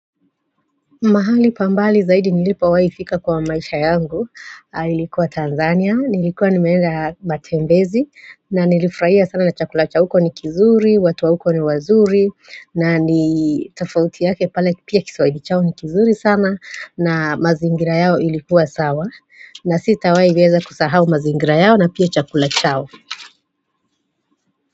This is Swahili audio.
Mahali pambali zaidi nilipo waifika kwa maisha yangu Ilikuwa Tanzania, nilikuwa ni meenda matembezi na nilifraia sana na chakula cha huko ni kizuri, watuwa huko ni wazuri na ni tofauti yake pale pia kiswaili chao ni kizuri sana na mazingira yao ilikuwa sawa na sita wai weza kusahau mazingira yao na pia chakula chao.